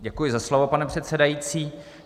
Děkuji za slovo, pane předsedající.